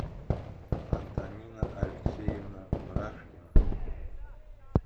антонина алексеевна бражкина